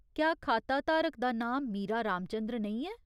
क्या खाताधारक दा नांऽ मीरा रामचन्द्र नेईं ऐ ?